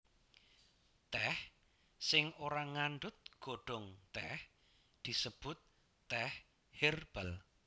Tèh sing ora ngandhut godhong tèh disebut tèh hèrbal